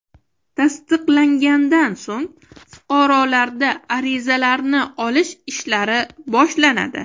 Tasdiqlangandan so‘ng fuqarolarda arizalarni olish ishlari boshlanadi.